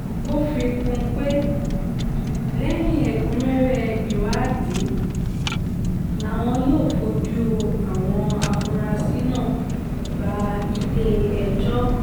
ó fi kún un pé lẹ́yìn ẹ̀kúnrẹ́rẹ́ ìwádìí làwọn yóò fojú àwọn afurasí náà bá ilé-ẹjọ́